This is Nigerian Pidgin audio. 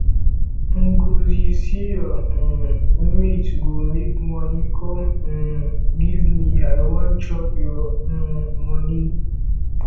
ngzi see your um mate go make money come um give me i wan chop your um money